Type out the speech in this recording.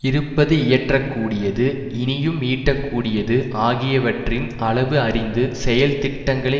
இருப்பது இயற்றக்கூடியது இனியும் ஈட்டக்கூடியது ஆகியவற்றின் அளவு அறிந்து செயல் திட்டங்களை